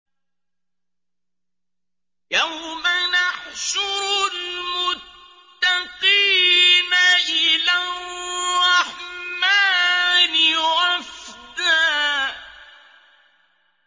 يَوْمَ نَحْشُرُ الْمُتَّقِينَ إِلَى الرَّحْمَٰنِ وَفْدًا